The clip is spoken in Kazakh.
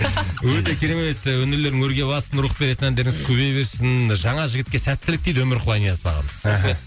өте керемет өнерлерің өрге бассын рух беретін әндеріңіз көбейе берсін жаңа жігітке сәттілік дейді өмірқұл айниязов ағамыз мхм рахмет